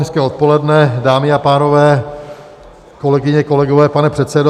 Hezké odpoledne, dámy a pánové, kolegyně, kolegové, pane předsedo.